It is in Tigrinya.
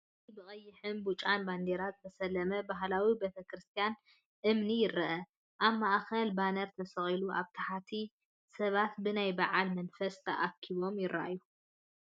ኣብዚ ብቀይሕን ብጫን ባነራት ዝተሰለመ ባህላዊ ቤተክርስትያን እምኒ ይርአ። ኣብ ማእከል ባነር ተሰቒሉ ኣብ ታሕቲ ሰባት ብናይ በዓል መንፈስ ተኣኪቦም ይረኣዩ።